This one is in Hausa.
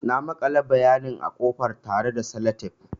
Na makale bayanin a ƙofar tare da Sellotape.